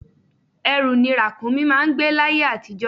Ẹrù ni Ràkúnmí máà ń gbé l'ayé àtijó